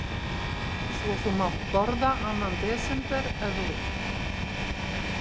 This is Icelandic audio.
Svo þú mátt borða annan desember, ef þú vilt.